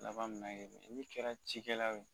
Laban min olu kɛra cikɛlaw ye